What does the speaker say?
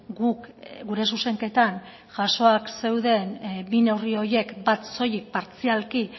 guk gure zuzenketan jasoak zeuden bi neurri horiek bat soilik partzialki